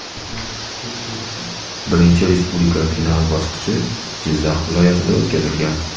Birinchi Respublika final bosqichi Jizzax viloyatida o‘tkazilgan.